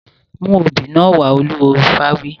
Mú obì náà wá! Olúwo ifá wí.